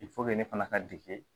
ne fana ka dege